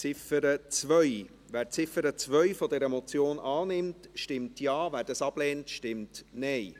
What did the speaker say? Wer die Ziffer 2 dieser Motion annimmt, stimmt Ja, wer diese ablehnt, stimmt Nein.